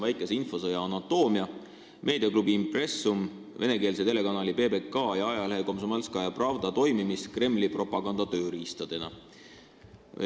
Väikese infosõja anatoomia" meediaklubi Impressum, venekeelse telekanali PBK ja ajalehe Komsomolskaja Pravda toimimist Kremli propaganda tööriistadena.